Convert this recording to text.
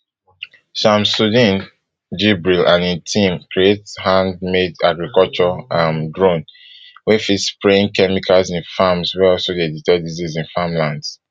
shamsuddeen jibril and im team create hand made agriculture um drone wey fit spraying chemicals in farms wey fit also detect disease in farmlands